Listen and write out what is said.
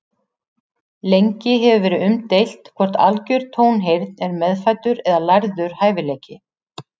Lengi hefur verið umdeilt hvort algjör tónheyrn er meðfæddur eða lærður hæfileiki.